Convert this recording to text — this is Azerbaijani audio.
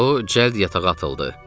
O cəld yatağa atıldı.